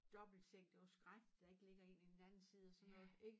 Dobbeltseng det var skrækkeligt der ikke ligger en i den anden side og sådan noget ik?